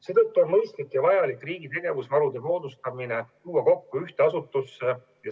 Seetõttu on mõistlik ja vajalik riigi tegevusvarude moodustamine tuua kokku ühte asutusse.